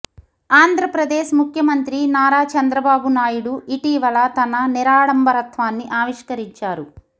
ఆంధ్రప్రదేశ్ ముఖ్యమంత్రి నారా చంద్రబాబు నాయుడు ఇటీవల తన నిరాడంబరత్వాన్ని ఆవిష్కరిచారు